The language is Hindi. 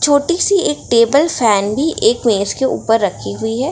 छोटी सी एक टेबल फैन भी एक मेज के उपर रखी हुई है।